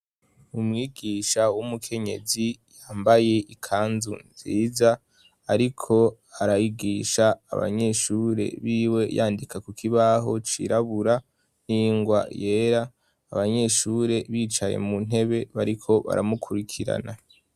umwigisha w'umukenyezi yambaye ikanzu nziza ariko arayigisha abanyeshure biwe yandika kukobaho cirabura n'ingwa yera abanyeshure bicaye muntebe bariko baramukurikirana